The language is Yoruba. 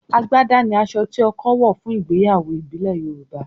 àgbàdá ni aṣọ tí ọkọ wọ̀ fún ìgbéyàwó ìbílẹ̀ Yorùbá